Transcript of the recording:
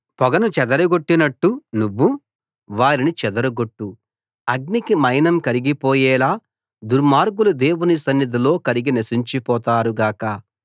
పొగను చెదరగొట్టినట్టు నువ్వు వారిని చెదరగొట్టు అగ్నికి మైనం కరిగిపోయేలా దుర్మార్గులు దేవుని సన్నిధిలో కరిగి నశించిపోతారు గాక